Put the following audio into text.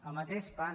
el mateix fan